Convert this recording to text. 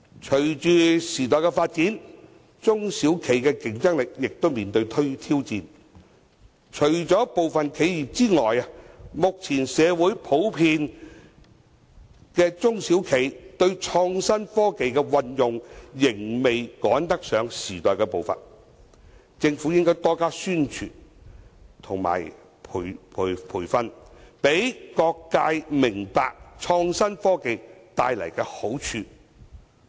隨着時代發展，中小企的競爭力面對挑戰，除了部分企業之外，目前社會普遍中小企對創新科技的運用仍未趕得上時代步伐，政府應該多加宣傳和培訓，讓各界明白創新科技所帶來的好處。